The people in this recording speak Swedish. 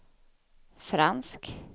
fransk